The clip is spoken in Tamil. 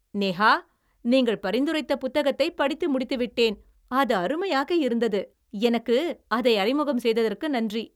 நேஹா, நீங்கள் பரிந்துரைத்த புத்தகத்தைப் படித்து முடித்து விட்டேன், அது அருமையாக இருந்தது. எனக்கு அதை அறிமுகம் செய்ததற்கு நன்றி.